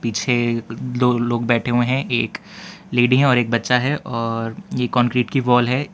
पीछे दो लोग बैठे हुए हैं एक लेडी हैं और एक बच्चा है और ये कांक्रीट की वॉल है।